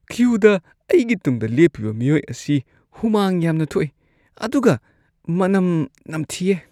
ꯀ꯭ꯌꯨꯗ ꯑꯩꯒꯤ ꯇꯨꯡꯗ ꯂꯦꯞꯄꯤꯕ ꯃꯤꯑꯣꯏ ꯑꯁꯤ ꯍꯨꯃꯥꯡ ꯌꯥꯝꯅ ꯊꯣꯛ ꯏ ꯑꯗꯨꯒ ꯃꯅꯝ ꯅꯝꯊꯤꯌꯦ ꯫